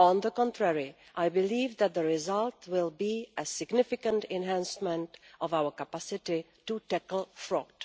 On the contrary, I believe that the result will be a significant enhancement of our capacity to tackle fraud.